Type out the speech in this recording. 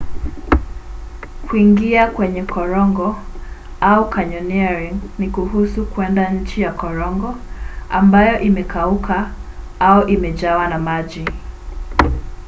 kuingia kwenye korongo au: canyoneering ni kuhusu kwenda chini ya korongo ambayo imekauka au imejawa na maji